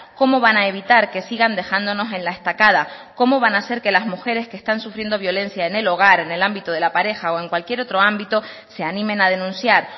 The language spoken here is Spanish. cómo van a evitar que sigan dejándonos en la estacada cómo van a hacer que las mujeres que están sufriendo violencia en el hogar en el ámbito de la pareja o en cualquier otro ámbito se animen a denunciar